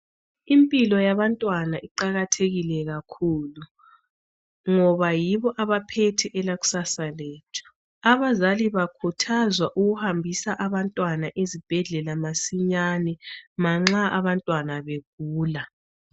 Impilo yabantwana iqakathekile kakhulu ngoba yibo abaphethe elakusasa lethu. Abazali bakhuthazwa ukuhambisa abantwana ezibhedlela masinyane manxa abantwana begula.